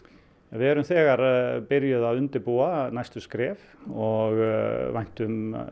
við erum þegar byrjuð að undirbúa næstu skref og væntum